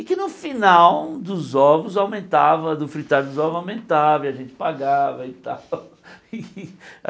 E que no final dos ovos aumentava, do fritar dos ovos aumentava, e a gente pagava e tal.